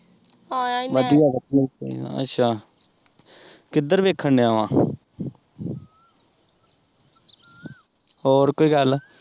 ਵਧੀਆ ਵਧੀਆ ਹੀਂ ਚਾਹੀਦਾ, ਅੱਛਾ, ਕਿੱਧਰ ਵੇਖਣ ਡਿਯਾ ਵਾਂ ਹੋਰ ਕੋਈ ਗੱਲ?